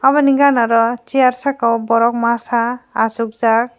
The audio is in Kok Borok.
obo ni ganaro chair saka o borok masa asokjak.